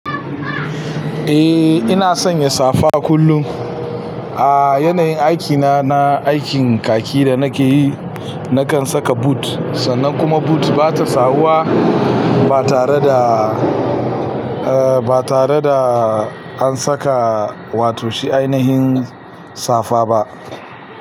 Eh ina sanya safa kullum. A yanayin aikina na aikin kaki da nake yi, na kan saka boot sannan kuma boot ba ta sawuwa ba tare da, eh ba tare da an saka wato shi ainihin safa ba.